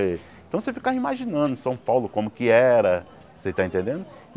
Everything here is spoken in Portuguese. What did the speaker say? Eh então você ficava imaginando São Paulo como que era, você tá entendendo?